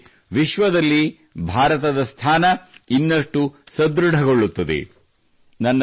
ಇದರಿಂದಾಗಿ ವಿಶ್ವದಲ್ಲಿ ಭಾರತದ ಸ್ಥಾನ ನ್ನಷ್ಟು ಸದೃಢಗೊಳ್ಳುತ್ತದೆ